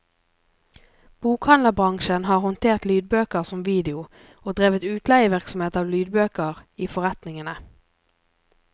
Bokhandlerbransjen har håndtert lydbøker som video og drevet utleievirksomhet av lydbøker i forretningene.